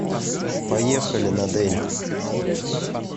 поехали надэль